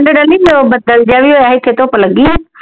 ਠੰਡ ਨੀ ਤੇ ਉਹ ਬੱਦਲ ਜਾ ਵੀ ਹੋਇਆ ਇਥੇ ਧੁੱਪ ਲੱਗੀ ਉ